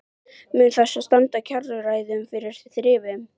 Mun það þá standa kjaraviðræðum fyrir þrifum?